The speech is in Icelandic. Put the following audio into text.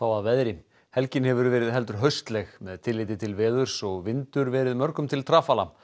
að veðri helgin hefur verið heldur með tilliti til veðurs og vindur verið mörgum til trafala